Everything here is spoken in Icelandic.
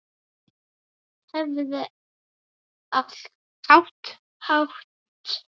Hefði átt